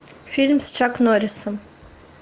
фильм с чак норрисом